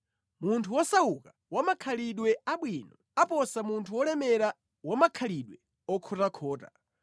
Munthu wosauka wa makhalidwe abwino aposa munthu wolemera wa makhalidwe okhotakhota.